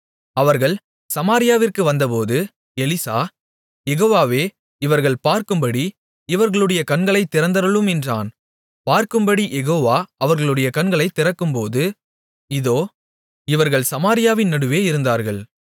அவர்கள் சமாரியாவிற்கு வந்தபோது எலிசா யெகோவாவே இவர்கள் பார்க்கும்படி இவர்களுடைய கண்களைத் திறந்தருளும் என்றான் பார்க்கும்படிக் யெகோவா அவர்களுடைய கண்களைத் திறக்கும்போது இதோ இவர்கள் சமாரியாவின் நடுவே இருந்தார்கள்